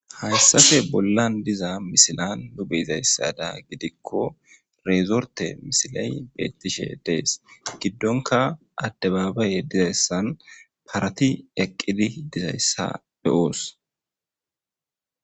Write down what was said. hayssafe bollan diza misila nu be'izayssada gidikko reezorte misilay beettishe dees giddonka addabaabaye dizayssan parati eqqidi dizayssa be'oos